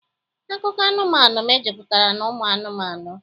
Akụkọ anụmanụ mejupụtara n'ụmụ anụmanụ